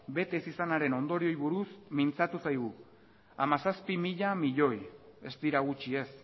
bete izanaren ondorioei buruz mintzatu zaigu hamazazpi mila milioi ez dira gutxi ez